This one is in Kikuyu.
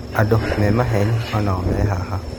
Andũ me maheni onao me haha